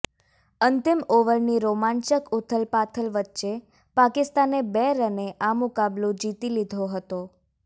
અંતિમ ઓવરની રોમાંચક ઉથલપાથલ વચ્ચે પાકિસ્તાને બે રને આ મુકાબલો જીતી લીધો હતો